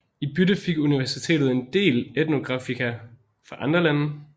I bytte fik Universitetet en del etnografika fra andre lande